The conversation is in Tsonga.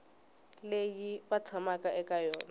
leyi va tshamaka eka yona